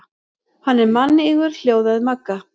Hann er mannýgur hljóðaði Magga.